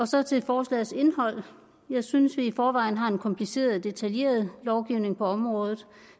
så til forslagets indhold jeg synes at vi i forvejen har en kompliceret og detaljeret lovgivning på området